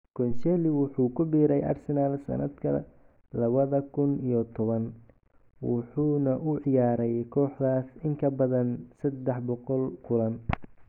Koscielny wuxuu ku biiray Arsenal sanadka lawadha kun iyo towan, wuxuuna u ciyaaray kooxdaas in ka badan 300 kulan.